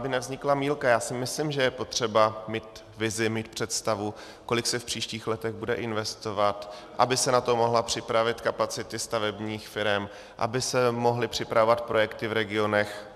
Aby nevznikla mýlka, já si myslím, že je potřeba mít vizi, mít představu, kolik se v příštích letech bude investovat, aby se na to mohly připravit kapacity stavebních firem, aby se mohly připravovat projekty v regionech.